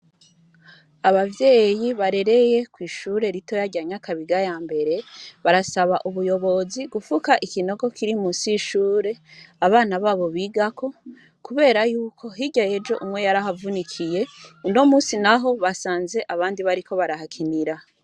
Abavyeyi barereye kw'ishure ritoya rya nyakabiga yambere barasaba ubuyobozi gufuka ikinogo Kiri musi y'ishure abana babo bigako kubera yuko hirya yejo umwe yarahavunikiye unomunsi naho basanze abandi bariko barahakinira.